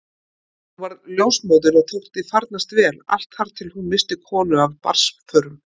Hún varð ljósmóðir og þótti farnast vel allt þar til hún missti konu af barnsförum.